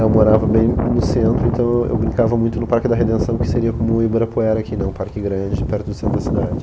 Eu morava bem no centro, então eu eu brincava muito no Parque da Redenção, que seria como o Ibirapuera, que é um parque grande perto do centro da cidade.